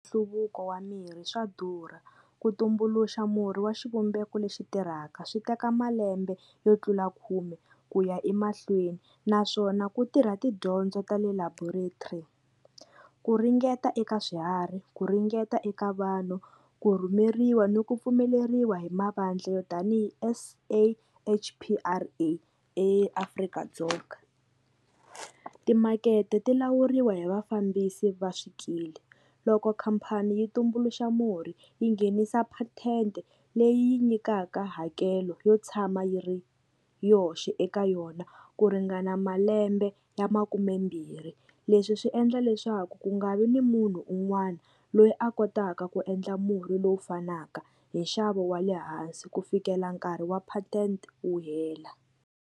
Nhluvuko wa mirhi swa durha ku tumbuluxa murhi wa xivumbeko lexi tirhaka swi teka malembe yo tlula khume ku ya emahlweni naswona ku tirha tidyondzo ta le laboratory ku ringeta eka swiharhi ku ringeta eka vanhu ku rhumeriwa ni ku pfumeleriwa hi mavandla yo tanihi S_A_H_P_R_A eAfrika-Dzonga timakete ti lawuriwa hi vafambisi va swikili loko khampani yi tumbuluxa murhi yi nghenisa patent leyi nyikaka hakelo yo tshama yi ri yoxe eka yona ku ringana malembe ya makumembirhi leswi swi endla leswaku ku nga vi ni munhu un'wana loyi a kotaka ku endla murhi lowu fanaka hi nxavo wa le hansi ku fikela nkarhi wa patent wu hela.